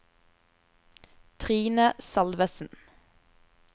Trine Salvesen